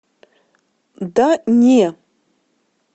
да не